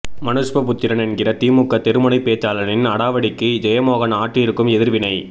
மனுஷ்ய புத்திரன் என்கிற திமுக தெருமுனைப்பேச்சாளனின் அடாவடிக்கு ஜெயமோகன் ஆற்றியிருக்கும் எதிர் வினை